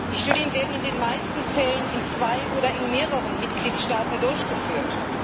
Die Studien werden in den meisten Fällen in zwei oder in mehreren Mitgliedstaaten durchgeführt.